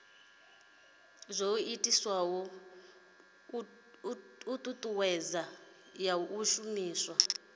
ii thuthuwedzo ya u shumiswa